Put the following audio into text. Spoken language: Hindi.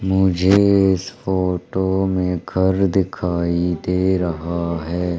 मुझे इस फोटो में घर दिखाई दे रहा हैं।